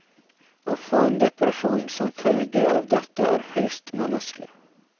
Å få en depresjon som følge av dette er høyst menneskelig.